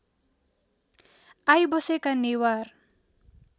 I बसेको नेवार